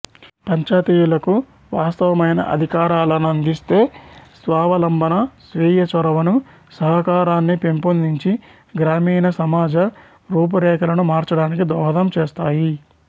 పంచాయతీలకు వాస్తవమైన అధికారాలను అందిస్తే స్వావలంబన స్వీయ చొరవను సహకారాన్ని పెంపొందించి గ్రామీణ సమాజ రూపురేఖలను మార్చడానికి దోహదం చేస్తాయి